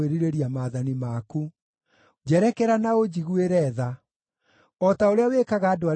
Njerekera na ũnjiguĩre tha, o ta ũrĩa wĩkaga andũ arĩa mendete rĩĩtwa rĩaku.